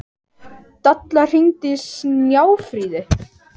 Dalla, hringdu í Snjáfríði.